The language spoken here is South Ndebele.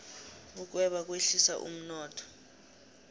ukweba kwehlisa umnotho